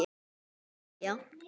Hann fer að hlæja.